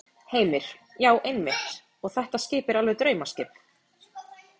Heimir: Já, einmitt og þetta skip er alveg draumaskip?